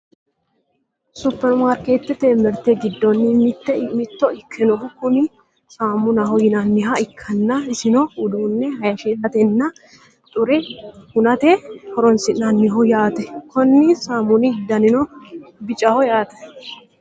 superimaarkeetet mirte giddonni mitto ikkinohu kuni saamunaho yinanniha ikkanna isino uduunne hayiishshiratenna xure hunate horonsi'nanniho yaate, konni saamuni danino bicaho yaate.